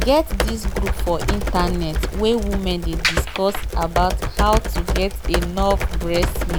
get this group for internet wen women dey discuss about how to get enough breast milk